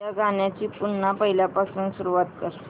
या गाण्या ची पुन्हा पहिल्यापासून सुरुवात कर